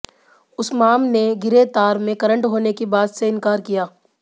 उस्माम ने गिरे तार में करंट होने की बात से इंकार किया